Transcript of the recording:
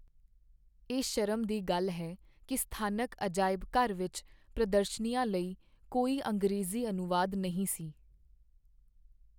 ਇਹ ਸ਼ਰਮ ਦੀ ਗੱਲ ਹੈ ਕਿ ਸਥਾਨਕ ਅਜਾਇਬ ਘਰ ਵਿੱਚ ਪ੍ਰਦਰਸ਼ਨੀਆਂ ਲਈ ਕੋਈ ਅੰਗਰੇਜ਼ੀ ਅਨੁਵਾਦ ਨਹੀਂ ਸੀ।